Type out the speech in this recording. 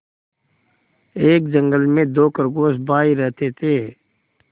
एक जंगल में दो खरगोश भाई रहते थे